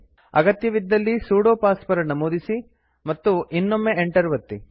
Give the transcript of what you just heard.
ಅಗತ್ಯವಿದ್ದಲ್ಲಿ sudo password ನಮೂದಿಸಿ ಮತ್ತು ಇನ್ನೊಮ್ಮೆ ಎಂಟರ್ ಒತ್ತಿ